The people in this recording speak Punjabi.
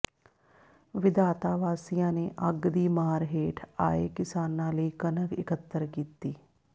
ਵਿਧਾਤਾ ਵਾਸੀਆਂ ਨੇ ਅੱਗ ਦੀ ਮਾਰ ਹੇਠ ਆਏ ਕਿਸਾਨਾਂ ਲਈ ਕਣਕ ਇਕੱਤਰ ਕੀਤੀ